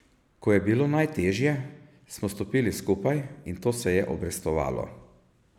Ko je bilo najtežje, smo stopili skupaj in to se je obrestovalo.